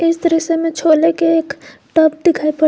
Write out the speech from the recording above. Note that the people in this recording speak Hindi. इस दृश्य में छोले के एक टब दिखाई पड़--